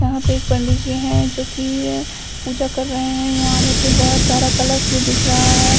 यहां पे एक पंडी जी है जो कि पूजा कर रहे है यहाँ मुझे बहोत सारा कलश भी दिख रहा है।